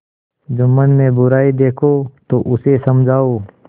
जुम्मन में बुराई देखो तो उसे समझाओ